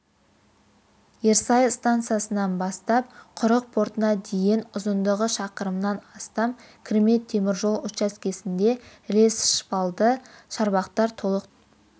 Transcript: ерсай стансасынан бастап құрық портына дейін ұзындығы шақырымнан астам кірме теміржол учаскесінде рельсшпалды шарбақтар толық төселді